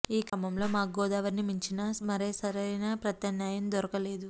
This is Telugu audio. ఈ క్రమంలో మాకు గోదావరిని మించిన మరే సరైన ప్రత్యామ్నాయం దొరకలేదు